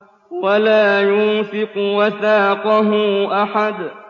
وَلَا يُوثِقُ وَثَاقَهُ أَحَدٌ